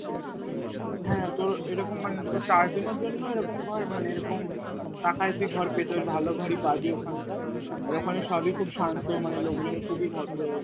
হ্যাঁ তোর এই রকম মানে তোর চারজনের জন্য এইরকম ঘর মানে এইরকম টাকায় তুই ঘর পেতে পারিস ভালো ঘরই পাবি ওখানকার আর ওখানে সবই খুব শান্ত মনে লোকজন খুবই ভদ্র